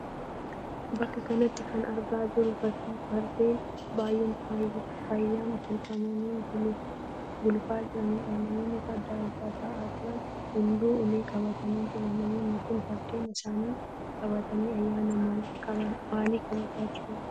Bakka kanatti kan argaa jirru fakkii Fardeen baay'een faayyaan tolfamanii gulufaa jiraniidha. Namoonni Farda Irra ta'aa jiran hunduu ulee qabatanii jiru. Namoonnni kun Fardeen isaanii qabatanii ayyaana maalii kabajaa jiru?